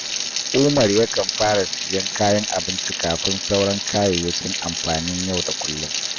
Umar yakan fara siyan kayan abinci kafin sauran kayayyakin amfanin yau da kullum